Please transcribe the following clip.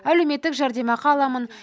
әлеуметтік жәрдемақы аламын